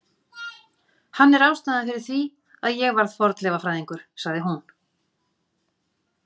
Hann er ástæðan fyrir því að ég varð fornleifafræðingur, sagði hún.